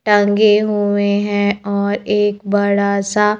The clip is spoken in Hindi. टंगे हुए हैं और एक बड़ा सा--